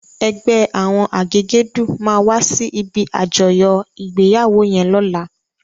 Ègbè áwòn àgégèdú má wàsí ibi ájòyò igbéyáwó yèn lòlá